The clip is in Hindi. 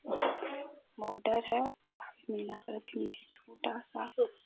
मोटर है और छोटा सा--